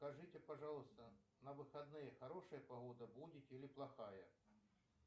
скажите пожалуйста на выходные хорошая погода будет или плохая